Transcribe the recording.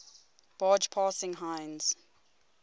barge passing heinz